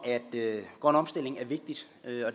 grøn omstilling at høre